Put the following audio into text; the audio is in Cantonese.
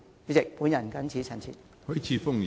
主席，我謹此陳辭。